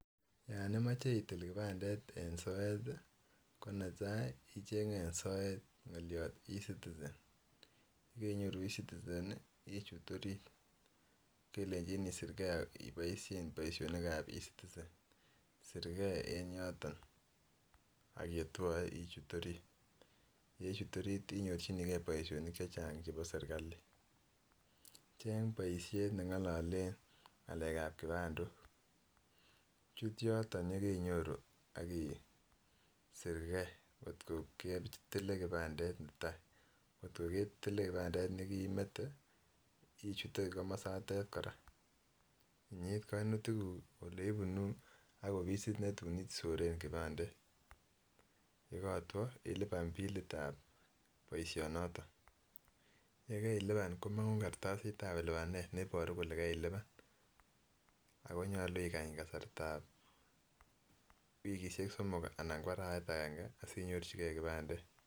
Yon imoche itil Kipandet en soet tii ko netai ichenge en soet ngoliot ecitizen yekoinyoruu ecitizen nii ichut orit, kelenji isir gee iboishen boishonik ab ecitizen isir gee en yoton ak yetwoe ichut orit. Yechut orit inyorchinii gee boishonik chechang chebo serikali, Cheng boishet nengilolen ngalek ab kipandok chut yoton yekoinyoruu ak isir gee kot ko ketile kipandet netai kotko ketile kipandet nekemetee ichute yotet Koraa inyit kominutik kuu oleibunuu ak offisit netun isoren kipandet yekotwo ilipan billit ab boishoniton. Yekailipan komongu kartasit ab lipanet neiboruu kole kailipan ako nyolu ikany kasartab wikishek somom anan arawek agenge asinyorchi gee kipandet.